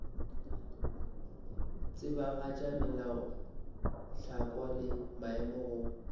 tsebagatša melaotlhakwa le maemo go